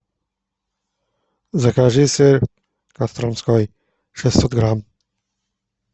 закажи сыр костромской шестьсот грамм